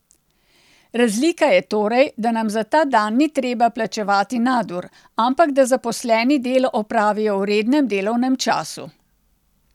Razlika je torej, da nam za ta dan ni treba plačevati nadur, ampak da zaposleni delo opravijo v rednem delovnem času.